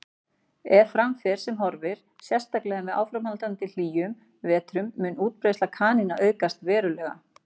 Ef fram fer sem horfir, sérstaklega með áframhaldandi hlýjum vetrum, mun útbreiðsla kanína aukast verulega.